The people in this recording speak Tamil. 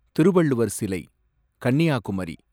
திருவள்ளுவர் சிலை, கன்னியாகுமரி